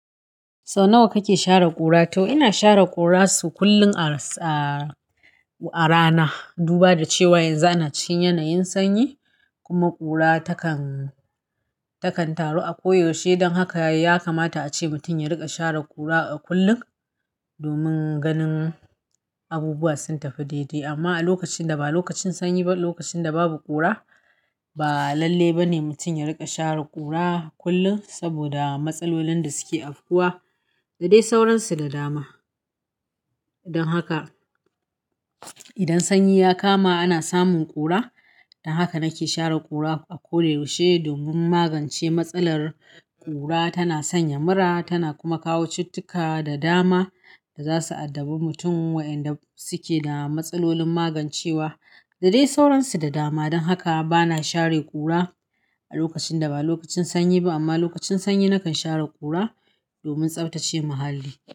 Sau nawa kake share ƙura? To ina share ƙura sau kullum a rana, duba da cewa yanzu ana cikin yanayin sanyi kuma ƙura takan taru a ko yaushe. Don haka ya kamata a ce mutum ya riƙa share ƙura kullum domin ganin abubuwa sun tafi daidai. Amma a lokacin da ba lokacin sanyi ba, lokacin da babu ƙura, ba lalle ba ne mutum ya riƙa share ƙura kullum saboda matsalolin da suke afkuwa da dai sauransu da dama. Dan haka idan sanyi ya kama ana samun ƙura. Don haka nake share ƙura a ko da yaushe domin magance matsalar ƙura. Tana sanya mura, tana kuma kawo cittika da dama da za su addabi mutum waƴanda suke da matsalolin magancewa da dai sauransu da dama. Don haka bana share ƙura a lokacin da ba lokacin sanyi ba. Amma lokacin sanyi nakan share ƙura domin tsaftace muhalli.